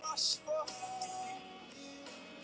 Þeir eru bara til.